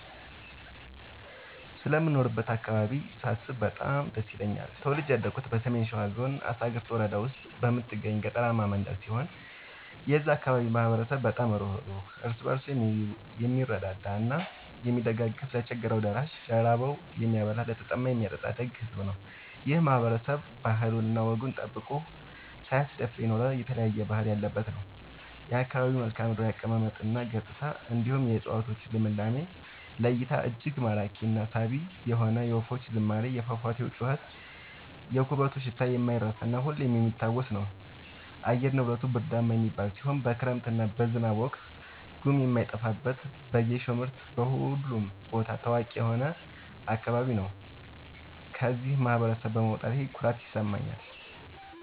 ስለምኖርበት አካባቢ ሳስብ በጣም ደስ ይለኛል። ተወልጄ ያደኩት በሰሜን ሸዋ ዞን አሳግርት ወረዳ ውስጥ በምትገኝ ገጠራማ መንደር ሲሆን የዛ አካባቢ ማህበረሰብ በጣም ሩህሩህ ÷ እርስ በርሱ የምረዳዳ እና የሚደጋገፍ ለቸገረው ደራሽ ÷ ለራበው የሚያበላ ÷ለተጠማ የሚያጠጣ ደግ ሕዝብ ነው። ይህ ማህበረሰብ ባህሉን እና ወጉን ጠብቆ ሳያስደፍር የኖረ የተለያየ ባህል ያለበት ነው። የአካባቢው መልከዓምድራው አቀማመጥ እና ገጽታ እንዲሁም የ እፀዋቶቹ ልምላሜ ለ እይታ እጅግ ማራኪ እና ሳቢ የሆነ የወፎቹ ዝማሬ የፏፏቴው ጩኸት የኩበቱ ሽታ የማይረሳ እና ሁሌም የሚታወስ ነገር ነው። አየር ንብረቱ ብርዳማ የሚባል ሲሆን በክረምት እና በዝናብ ወቅት ጉም የማይጠፋበት በጌሾ ምርት በሁሉም ቦታ ታዋቂ የሆነ አካባቢ ነው። ከዚህ ማህበረሰብ በመውጣቴ ኩራት ይሰማኛል።